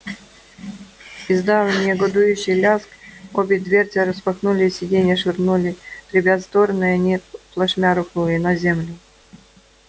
издав негодующий лязг обе дверцы распахнулись сиденья швырнули ребят в стороны и они плашмя рухнули на землю